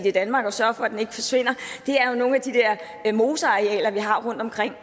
i danmark og sørger for at den ikke forsvinder er nogle af de der mosearealer vi har rundtomkring